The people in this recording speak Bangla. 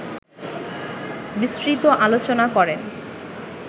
বিস্তৃত আলোচনা করেন